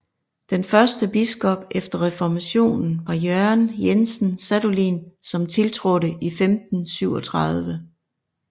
Den første biskop efter Reformationen var Jørgen Jensen Sadolin som tiltrådte i 1537